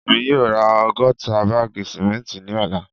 Emi yoo ra ọgọta baagi simenti ni ọla